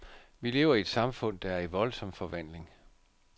Vi lever i et samfund, der er i voldsom forvandling.